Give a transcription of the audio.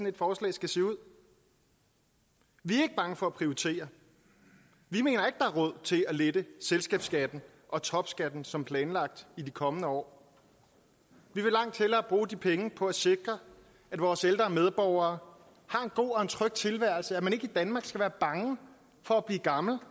et forslag skal se ud vi er ikke bange for at prioritere vi mener ikke er råd til at lette selskabsskatten og topskatten som planlagt i de kommende år vi vil langt hellere bruge de penge på at sikre at vores ældre medborgere har en god og tryg tilværelse så man ikke i danmark skal være bange for at blive gammel